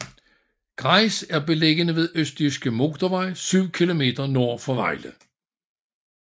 Grejs er beliggende ved Østjyske Motorvej syv kilometer nord for Vejle